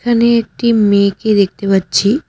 এখানে একটি মেয়েকে দেখতে পাচ্ছি।